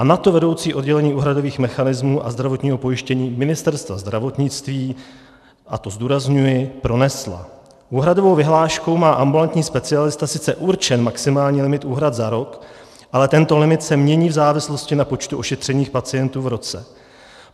A na to vedoucí oddělení úhradových mechanismů a zdravotního pojištění Ministerstva zdravotnictví - a to zdůrazňuji - pronesla: Úhradovou vyhláškou má ambulantní specialista sice určen maximální limit úhrad za rok, ale tento limit se mění v závislosti na počtu ošetřených pacientů v roce.